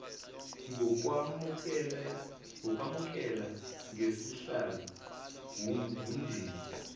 ngokwamukela ngesihle wumndeni